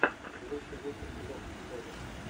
лучший выпуск лофтблога